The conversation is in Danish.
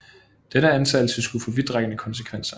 Denne antagelse skulle få vidtrækkende konsekvenser